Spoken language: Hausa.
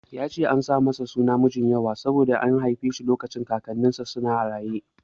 Ya ce an sa masa suna Mijinyawa ne saboda an haife shi lokacin Kakannin sa huɗu na raye.